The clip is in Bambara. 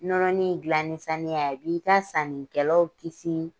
Nɔnɔnin in gilan ni saniya ye a b'i ka sannikɛlaw kisi.